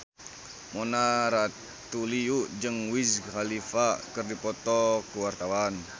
Mona Ratuliu jeung Wiz Khalifa keur dipoto ku wartawan